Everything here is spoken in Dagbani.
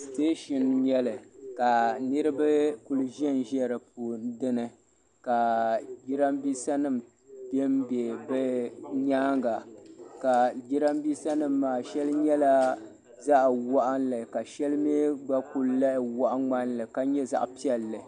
Sitɛɛshin n nyɛli ka niriba kuli ʒɛn ʒɛ dini ka jiranbiisa nima bɛ n bɛ bi nyaanga ka jiranbiisa nima maa sheli nyɛla zaɣa waɣinli ka sheli mi gba kuli lahi waɣa ŋmani li ka nyɛ zaɣa piɛlli